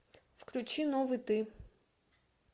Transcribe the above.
включи новый ты